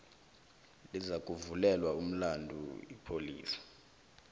lizakuvulelwa umlandu ipholisa